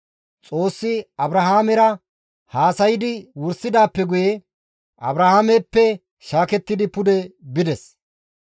Xoossi Abrahaamera haasaydi wursidaappe guye, Abrahaameppe shaakettidi pude bides.